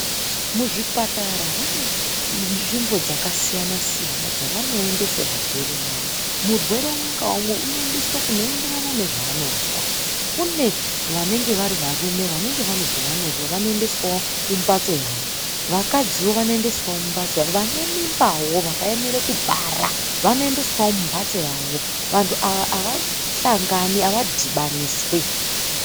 Muzvipatara vane nzvimbo dzakasiyana siyana dzavanoendese varwere vawo. Murwere umwe ngaumwe unoendeswa kunoenderana nezvaanozwa . Kune vanenge vari varume vanenge vane zvavanozwa vanoendeswawo kumbatso yawo. Vakadziwo vanoendeswawo mumbatso yawo, vane mimbawo vakaemere kubara vanoendeswawo mumbatso yawo. Vantu ava avashangani avadhibaniswi.